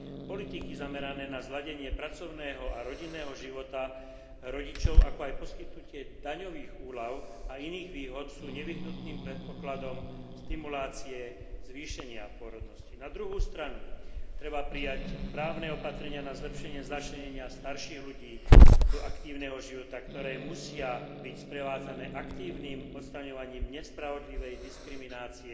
Politiky zamerané na zosúladenie pracovného a rodinného života rodičov, ako aj poskytnutie daňových úľav a iných výhod sú nevyhnutným predpokladom stimulácie zvýšenia pôrodnosti. Na druhej strane treba prijať právne opatrenia na zlepšenie začlenenia starších ľudí do aktívneho života, ktoré musia byť sprevádzané aktívnym odstraňovaním nespravodlivej diskriminácie